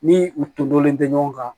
Ni u to dɔnlen tɛ ɲɔgɔn kan